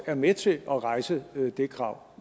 er med til at rejse det krav